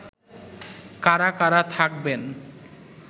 কারা কারা থাকবেন